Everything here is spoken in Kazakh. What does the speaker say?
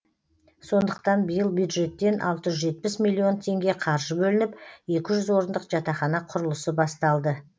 сондықтан биыл бюджеттен алты жүз жетпіс миллион теңге қаржы бөлініп екі жүз орындық жатақхана құрылысы басталды